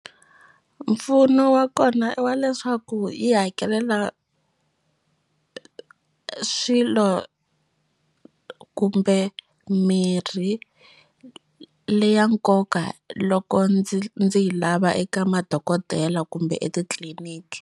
Mpfuno wa kona i wa leswaku yi hakelela swilo kumbe mirhi le ya nkoka loko ndzi ndzi yi lava eka madokodela kumbe etitliliniki.